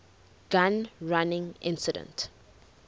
gun running incident